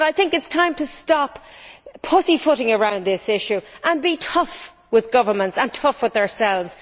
I think it is time to stop pussyfooting around this issue and be tough with governments and tough with ourselves.